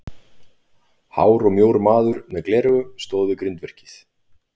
Hár og mjór maður með gleraugu stóð við grindverkið.